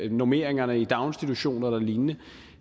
normeringerne i daginstitutioner eller lignende